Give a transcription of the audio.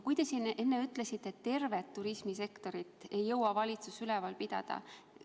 Te siin enne ütlesite, et tervet turismisektorit ei jõua valitsus üleval pidada.